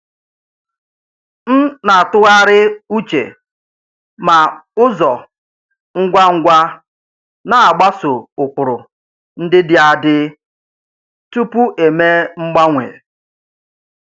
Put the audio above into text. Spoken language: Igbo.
M na-atụgharị uche ma ụzọ ngwa ngwa na-agbaso ụkpụrụ ndị dị adị tupu eme mgbanwe.